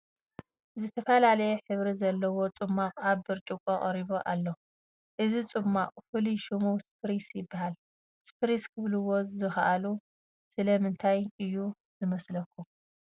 ዝተፈላለየ ሕብሪ ዘለዎ ፅሟቕ ኣብ ብርጭቆ ቀሪቡ ኣሎ፡፡ እዚ ፅሟቕ ፍሉይ ሽሙ ስፕሪስ ይበሃል፡፡ ስፕሪስ ክብልዎ ዝኸኣሉ ስለምንታይ እዩ ዝመስለኩም?